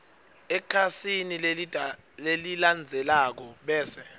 ekhasini lelilandzelako bese